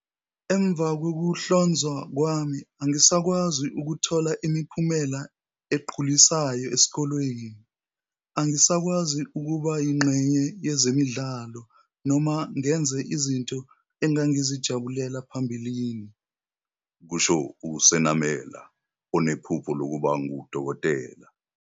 "Emva kokuhlonzwa kwami, angisakwazi ukuthola imiphumela egculisayo esikoleni. Angisakwazi ukuba yingxenye yezemidlalo noma ngenze izinto engangizijabulela phambilini," kusho uSenamela, onephupho lokuba ngudokotela.